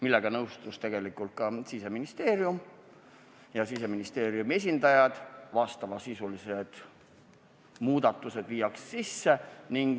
Sellega nõustusid tegelikult ka Siseministeeriumi esindajad, vajalikud muudatused viiakse sisse.